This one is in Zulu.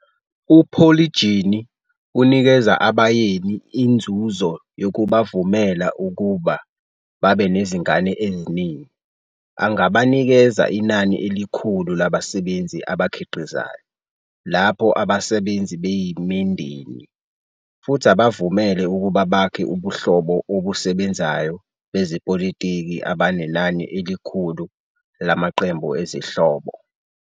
UPolygyny unikeza abayeni inzuzo yokubavumela ukuba babe nezingane eziningi, angabanikeza inani elikhulu labasebenzi abakhiqizayo, lapho abasebenzi beyimindeni, futhi abavumele ukuba bakhe ubuhlobo obusebenzayo bezepolitiki abanenani elikhulu lamaqembu ezihlobo.